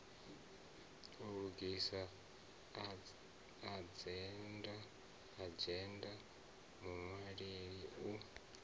u lugisa adzhenda muṅwaleli u